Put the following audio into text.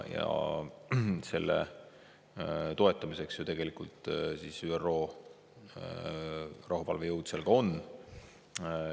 Selle toetamiseks tegelikult ÜRO rahuvalvejõud seal ongi.